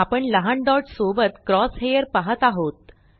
आपण लहान डॉट सोबत क्रॉस हेअर पाहत आहोत